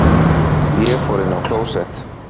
Ég fór inn á klósett.